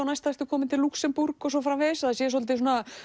næsta ertu kominn til Lúxemborg og svo framvegis að það sé svolítið